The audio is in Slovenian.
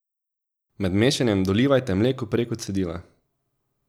Med mešanjem dolivajte mleko preko cedila.